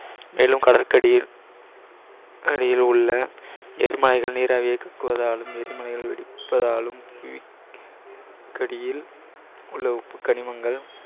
மேலும் கடலுக்கடியில் அடியிலுள்ள எரிமலைகள் வெடிப்பதாலும் உள்ள உப்புக்கனிமங்கள்